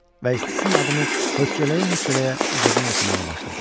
Və Essinin adını hötçələyə-hötçələyə ucadan oxumağa başladım.